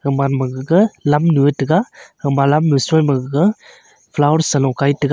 gaman ma gaga lam nyu ye tega gama lam nyu sui ma gaga flower sa lo kai tega.